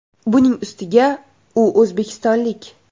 Buning ustiga u o‘zbekistonlik.